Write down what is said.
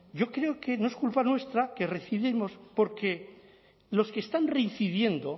yo creo que no es culpa nuestra que reincidamos porque los que están reincidiendo